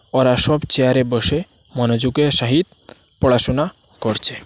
ওরা সব চেয়ারে বসে মনোযোগের সাহিত পড়াশুনা করছে।